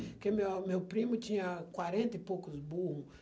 Porque minha meu primo tinha quarenta e poucos burro.